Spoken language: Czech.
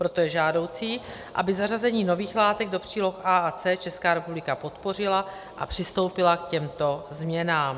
Proto je žádoucí, aby zařazení nových látek do příloh A a C Česká republika podpořila a přistoupila k těmto změnám.